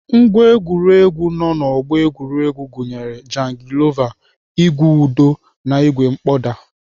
Ngwá egwuregwu nọ na ọgbọ egwuregwu gụnyere jangilova, ìgwè ụdọ na ìgwè mkpọda.